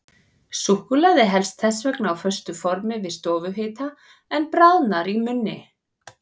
Súkkulaði helst þess vegna á föstu formi við stofuhita, en bráðnar í munni.